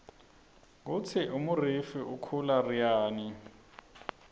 kutsi umurifu ukhula ryani